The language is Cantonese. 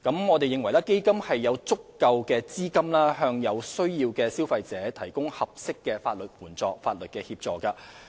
我們認為基金有足夠資金為有需要的消費者提供合適的法律協助。